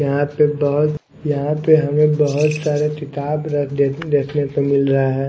यहां पे बहोत यहां पे हमें बहोत सारे किताब रख देख देखने को मिल रहा है।